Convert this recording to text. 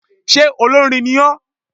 Sé olórin ní o?